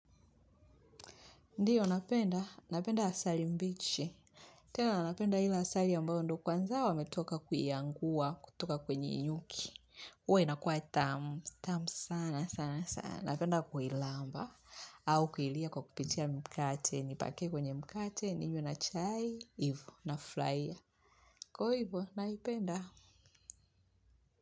Ndiyo, napenda. Napenda asali mbichi. Tena, napenda ile asali ambayo ndo kwanza wametoka kuiangua, kutoka kwenye nyuki. Huwa inakuwa tamu. Tamu sana sana sana. Napenda kuilamba. Au kuilia kwa kupitia mkate. Nipake kwenye mkate. Ninywe na chai. Ivo nafurahia. Kwa hivo. Naipenda.